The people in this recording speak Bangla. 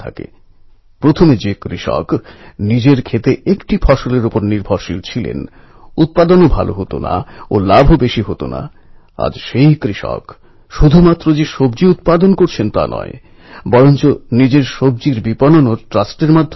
আমি চাই প্রত্যেক শহরে ইকোফ্রেণ্ডলি গণেশ উৎসবের প্রতিযোগিতা হোক তাঁদের পুরষ্কৃত করা হোক এবং মাইগভ ও নরেন্দ্র মোদী অ্যাপএ এই পরিবেশবন্ধব গণেশ উৎসবের ব্যাপক প্রচার করা হোক